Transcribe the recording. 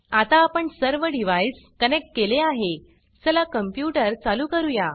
आता आपण सर्व डिव्हाइस कनेक्ट केले आहे चला कंप्यूटर चालू करूया